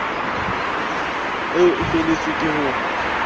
eo e feletswe ke ho